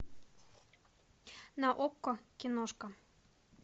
на окко киношка